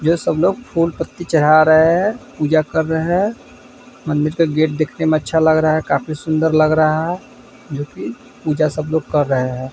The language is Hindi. ये सब लोग फूल-पत्ती चढ़ा रहे हैं। पूजा कर रहे हैं। मंदिर का गेट देखने में अच्छा लग रहा है। काफी सुंदर लग रहा है जो कि पूजा सब लोग कर रहे हैं।